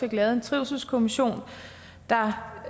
lavet en trivselskommission der